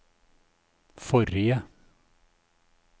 forrige